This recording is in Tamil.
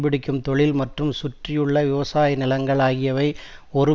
பிடிக்கும் தொழில் மற்றும் சுற்றியுள்ள விவசாய நிலங்கள் ஆகியவை ஒரு